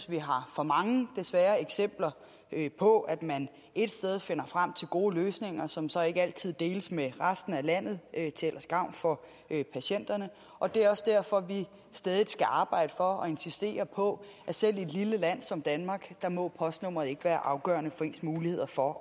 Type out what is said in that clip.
vi har for mange desværre eksempler på at man ét sted finder frem til gode løsninger som så ikke altid deles med resten af landet til gavn for patienterne og det er også derfor at vi stædigt skal arbejde for og insistere på at selv i et lille land som danmark må postnummeret ikke være afgørende for ens muligheder for